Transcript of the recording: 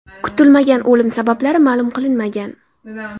Kutilmagan o‘lim sabablari ma’lum qilinmagan.